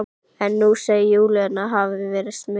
En nú segir Júlía hann hafa verið smið.